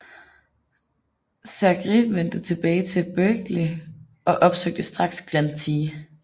Segrè vendte tilbage til Berkeley og opsøgte straks Glenn T